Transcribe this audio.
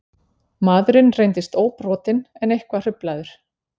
Maðurinn reyndist óbrotinn en eitthvað hruflaður